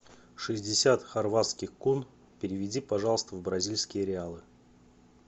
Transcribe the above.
шестьдесят хорватских кун переведи пожалуйста в бразильские реалы